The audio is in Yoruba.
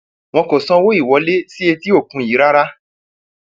wọn kò sanwó ìwọlé sí etí òkun yìí rárá